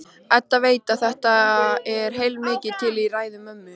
Edda veit að það er heilmikið til í ræðu mömmu.